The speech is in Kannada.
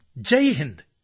ಜೈಹಿಂದ್